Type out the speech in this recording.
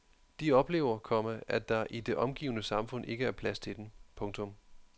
De oplever, komma at der i det omgivende samfund ikke er plads til dem. punktum